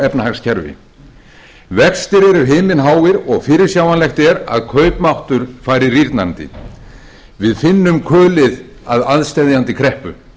efnahagskerfi vextir eru himinháir og fyrirsjáanlegt er að kaupmáttur fari rýrnandi við finnum kulið af aðsteðjandi kreppu